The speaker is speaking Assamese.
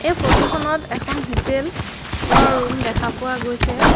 এই ফটো খনত এখন হোটেল লৰ ৰুম দেখা পোৱা গৈছে।